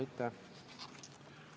Aitäh!